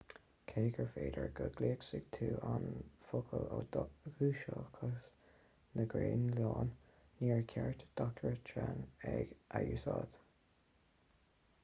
cé gur féidir go gcloisfidh tú an focal ó dhúchasaigh na graonlainne níor cheart d'eachtrannaigh é a úsáid